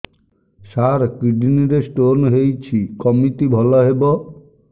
ସାର kidney ରେ stone ହେଇଛି କମିତି ଭଲ ହେବ